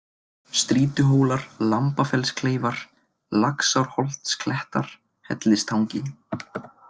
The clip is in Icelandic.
Strýtuhólar, Lambafellskleifar, Laxárholtsklettar, Hellistangi